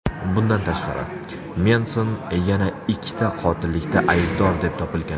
Bundan tashqari, Menson yana ikkita qotillikda aybdor deb topilgan.